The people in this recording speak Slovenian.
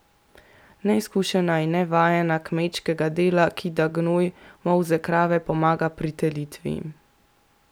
Neizkušena in nevajena kmečkega dela kida gnoj, molze krave, pomaga pri telitvi.